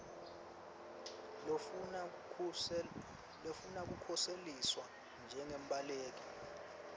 lofuna kukhuseliswa njengembaleki